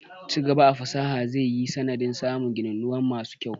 Ci gaba a fasaha zai yi sanadin samun gininuwa masu kyau.